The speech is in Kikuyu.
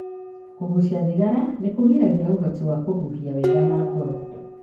Kũgucia thigara nĩkũgiragĩrĩria ũhoti wa kũhũhia wega na ngoro.